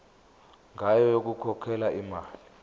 ngayo yokukhokhela imali